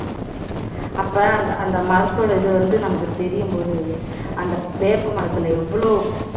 அப்ப அந்த அந்த மரத்தோட இது வந்து நமக்கு தெரியும்போது அந்த வேப்ப மரத்துல எவ்ளோ மருத்துவ~